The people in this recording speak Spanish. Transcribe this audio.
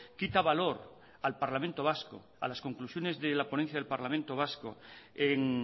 quita valor al parlamento vasco a las conclusiones de la ponencia del parlamento vasco en